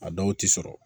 A dɔw ti sɔrɔ